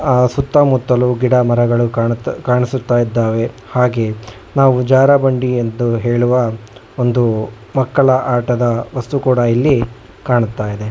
ಅ ಸುತ್ತಮುತ್ತಲು ಗಿಡ ಮರಗಳು ಕಳಿಸುತ್ತಾ ಇದ್ದಾವೆ ಹಾಗೆ ನಾವು ಜಾರ ಬಂಡಿಯ ಎಂದು ಹೇಳುವ ಒಂದು ಮಕ್ಕಳ ಆಟದ ವಸ್ತು ಕೂಡ ಇಲ್ಲಿ ಕಾಣ್ತಾ ಇದೆ.